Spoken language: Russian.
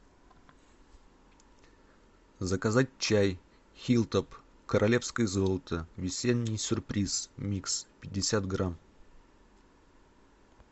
заказать чай хиллтоп королевское золото весенний сюрприз микс пятьдесят грамм